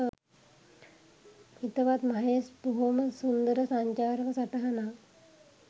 හිතවත් මහේෂ් බොහොම සුන්දර සංචාරක සටහනක්.